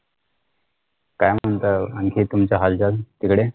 काय म्हणता आणखी तुमचे हालचाल तिकडे